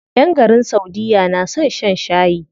ƴan garin saudiya na son shan shayi.